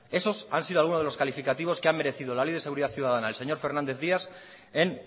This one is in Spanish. esos han sido algunos de los calificativos que ha merecido la ley de seguridad ciudadana del señor fernández díaz en